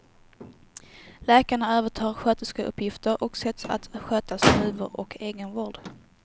Läkarna övertar sköterskeuppgifter och sätts att sköta snuvor och egenvård.